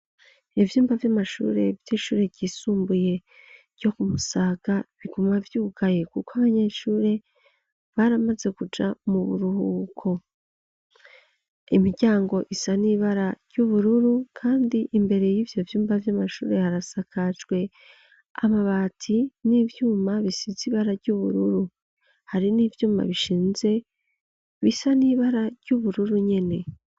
Ivyumba vy'amashure, vy'ishure ryisumbuye, ryo ku Musaga, biguma vyugaye, kuko abanyeshure, baramaze kuja mu buruhuko; imiryango isa n'ibara ry'ubururu, kandi, imbere y'ivyo vyumba, vy'amashure, harasakajwe amabati, n'ivyuma bisize ibara ry'ubururu; hari n'ivyumba bishinze, bisa n'ibara, ry'ubururu nyene.